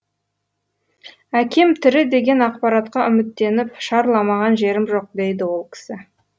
әкем тірі деген ақпаратқа үміттеніп шарламаған жерім жоқ дейді ол кісі